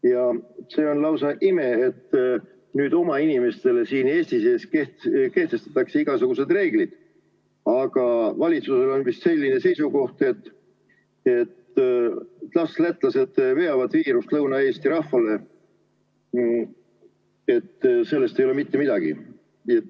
Ja see on lausa ime, et nüüd oma inimestele siin Eesti sees kehtestatakse igasugused reeglid, aga valitsusel on vist selline seisukoht, et las lätlased veavad viirust Lõuna-Eesti rahvale, et sellest ei ole mitte midagi.